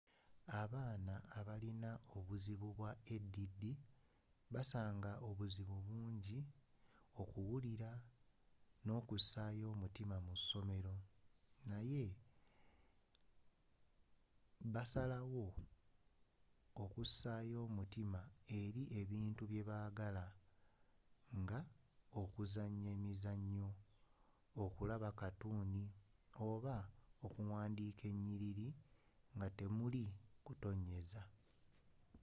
abaana abalina obuzibu bwa add basaanga obuzibu bungi okuwulira n'okussaayo omutima mu ssomero naye basobola okussaayo omutima eri ebintu byebagala nga okuzanya emizanyo okulaba katuni oba okuwandika enyiriri nga temuli kutonnyeza